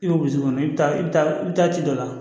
I bɛ i bɛ taa i bɛ taa i bɛ taa ci dɔ la